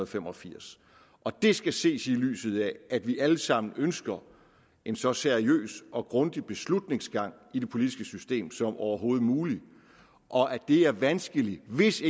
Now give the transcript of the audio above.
fem og firs det skal ses i lyset af at vi alle sammen ønsker en så seriøs og grundig beslutningsgang i det politiske system som overhovedet muligt og at det er vanskeligt hvis